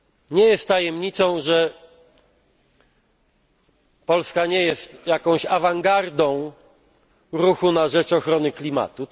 nie jest tajemnicą, że Polska nie jest awangardą ruchu na rzecz ochrony klimatu.